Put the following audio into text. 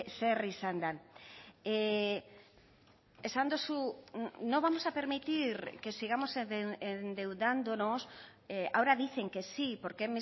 zer izan den esan duzu no vamos a permitir que sigamos endeudándonos ahora dicen que sí porque